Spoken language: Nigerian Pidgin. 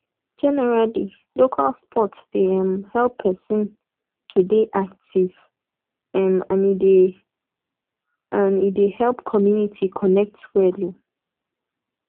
generally local sport dey um help person to dey active um and e dey and e dey help community connect well um